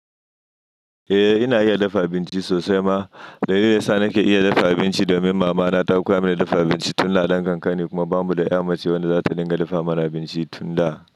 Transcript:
Eh ina iya dafa abinci sosai ma, dalilin yasa nake iya dafa abinci domin mama na ta koya mini dafa abinci tun da ina dan kankane kuma bamu da ya mace wanda zata dinga dafa mana abinci tun da.